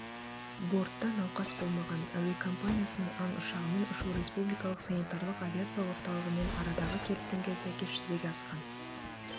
бортта науқас болмаған әуекомпаниясының ан ұшағымен ұшу республикалық санитарлық авиация орталығымен арадағы келісімге сәйкес жүзеге асқан